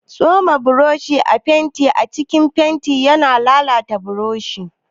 Tsoma boroshin fenti a cikin fenti yana lalata boroshi.